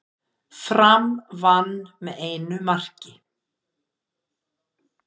Fram vann með einu marki